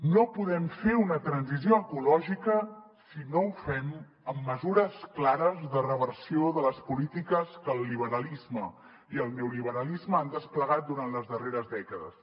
no podem fer una transició ecològica si no ho fem amb mesures clares de reversió de les polítiques que el liberalisme i el neoliberalisme han desplegat durant les darreres dècades